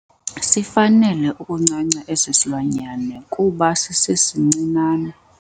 Sifanele ukuncanca esi silwanyana kuba sisesincinane.